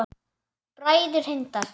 Bræður Hindar